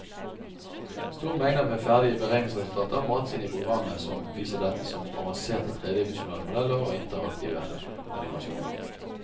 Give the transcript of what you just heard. Store mengder med ferdige beregningsresultater mates inn i programmet som viser dette som avanserte tredimensjonale modeller og interaktive animasjoner.